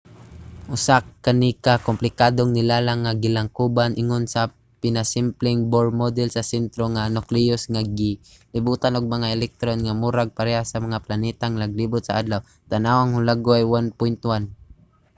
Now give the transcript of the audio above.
usa kani ka komplikadong nilalang nga gilangkuban ingon sa pinasimpleng bohr model sa sentro nga nucleus nga gilibutan og mga electron nga murag pareha sa mga planetang naglibot sa adlaw - tan-awa ang hulagway 1.1